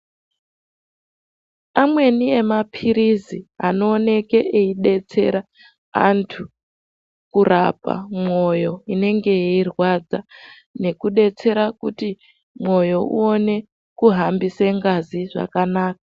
Amweni mapirizi anooneke eidetsera andu kurapa mwoyo inenge yeirwadza nekudetsera kuti mwoyo uone kuhambisa ngazi zvakanaka.